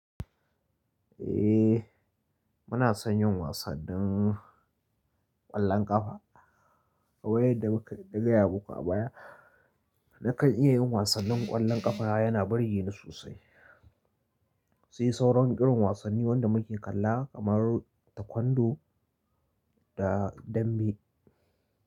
Eh, muna son yin wasannin ƙwallon ƙafa. Kamar yadda muka nagaya muku a baya, nakan iya yin wasannin ƙwallon ƙafa yana burge ni sosai. Sai sauran irin wasanni wanda muke kalla kamar ta kwando da dambe.